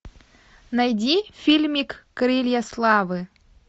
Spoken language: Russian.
найди фильмик крылья славы